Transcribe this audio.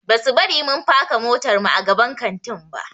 Basu bari mun faka motarmu a gaban kantin ba.